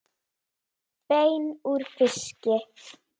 Bein úr fiski